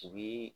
U bi